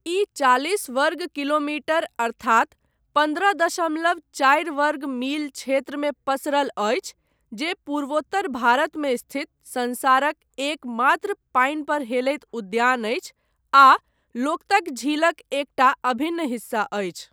ई चालिस वर्ग किलोमीटर अर्थात पन्द्रह दशमलव चारि वर्ग मील क्षेत्रमे पसरल अछि, जे पूर्वोत्तर भारतमे स्थित संसारक एकमात्र पानि पर हेलैत उद्यान अछि आ लोकतक झीलक एकटा अभिन्न हिस्सा अछि।